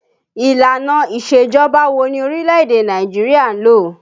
Ìlànà isejọba wo ni orílẹ̀ èdè Nàìjíríà ń lò?